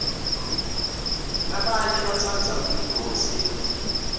labanye batsandza umcululo wesintfu